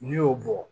N'i y'o bɔ